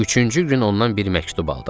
Üçüncü gün ondan bir məktub aldım.